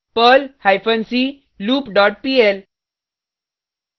perl hyphen c loop dot pl